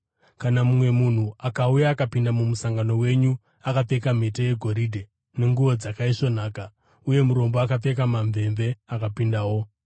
Kana mumwe munhu akauya akapinda mumusangano wenyu akapfeka mhete yegoridhe nenguo dzakaisvonaka, uye murombo akapfeka mamvemve akapindawo,